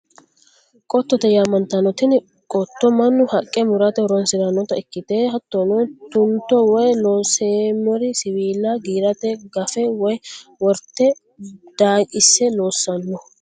Kotote yaa'mantano, tini qoto manu haqa muratte horonsiranotta ikkite hatono tu'nito woyi looseemer siwiilla giirate gafe woyi worite daaqise loosanno